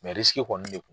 kɔni ne